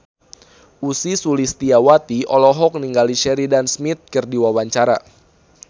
Ussy Sulistyawati olohok ningali Sheridan Smith keur diwawancara